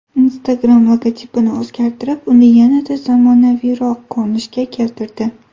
Instagram logotipini o‘zgartirib, uni yanada zamonaviyroq ko‘rinishga keltirdi.